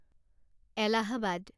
Allahabad